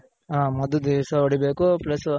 ಹಾ ಮದ್ದ್ ದಿಸ ಹೊಡಿ ಬೇಕು plus